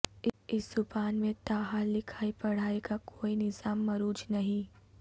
اس زبان میں تا حال لکھائی پڑھائی کا کوئی نظام مروج نہیں